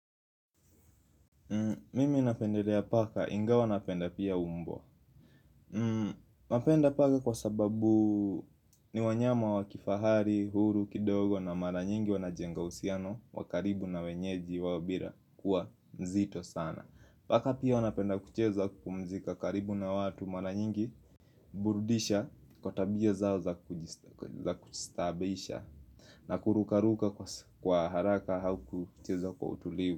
Mimi napendelea paka ingawa napenda pia mbwa napenda paka kwa sababu ni wanyama wa kifahari, huru, kidogo na mara nyingi wanajenga uhusiano wa karibu na wenyeji wao bila kuwa mzito sana. Paka pia wanapenda kucheza kupumzika karibu na watu mara nyingi. Burudisha kwa tabia zao za kustaabisha na kurukaruka kwa haraka au kucheza kwa utulivu.